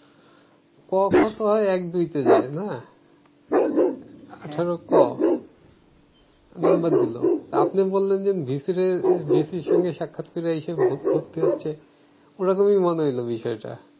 ক খ তো হয় এক দুইতে যেয়ে না আঠারো ক নাম্বার দিলো তো আপনি বললেন যে ভিসিরে ভিসি এর সঙ্গে সাক্ষাৎ কইরা আইসা ভ~ভর্তি হচ্ছে ওরকমই মনে হইলো বিষয়টা